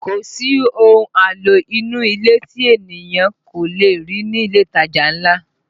Kò sí ohun àlò inú ilé tí ènìyàn kò le rí ní ilé ìtajà ńlá